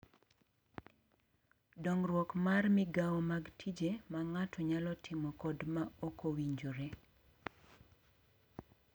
Dongruok mar migao mag tije ma ng’ato nyalo timo kod ma ok owinjore